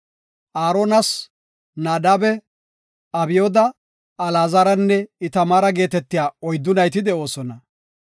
Aaronas Naadabe, Abyooda, Alaazaranne Itamaara geetetiya oyddu nayti de7oosona.